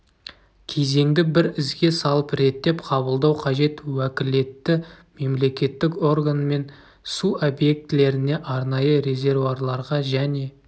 кезеңді бір ізге салып реттеп қабылдау қажет уәкілетті мемлекеттік органмен су объектілеріне арнайы резервуарларға және